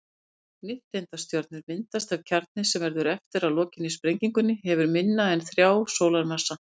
Nifteindastjörnur myndast ef kjarninn, sem verður eftir að lokinni sprengingunni, hefur minna en þrjá sólarmassa.